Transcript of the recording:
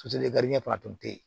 fana tun tɛ yen